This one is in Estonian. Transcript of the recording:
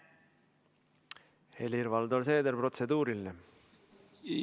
Helir-Valdor Seeder, protseduuriline küsimus.